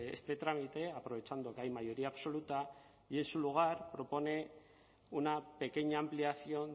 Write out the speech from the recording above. este trámite aprovechando que hay mayoría absoluta y en su lugar propone una pequeña ampliación